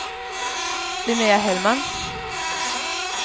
Linnea Hellman